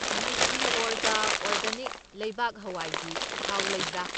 Nutriorg organic ꯂꯩꯕꯥꯛ ꯍꯋꯥꯏꯒꯤ ꯊꯥꯎ ꯂꯩꯕ꯭ꯔꯥ?